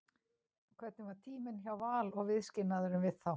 Hvernig var tíminn hjá Val og viðskilnaðurinn við þá?